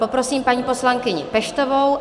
Poprosím paní poslankyni Peštovou.